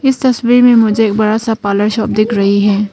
इस तस्वीर मे एक बड़ा सा मुझे पार्लर शॉप दिख रहे हैं।